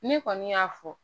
Ne kɔni y'a fɔ